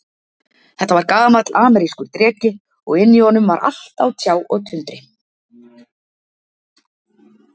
Þetta var gamall amerískur dreki, og inni í honum var allt á tjá og tundri.